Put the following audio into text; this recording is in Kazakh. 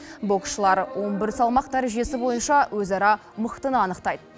боксшылар он бір салмақ дәрежесі бойынша өзара мықтыны анықтайды